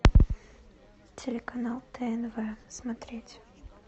телеканал тнв смотреть